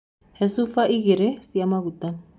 He cuba igĩr cia maguta.